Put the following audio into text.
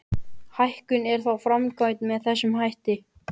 Hækkunin er þá framkvæmd með þessum hætti.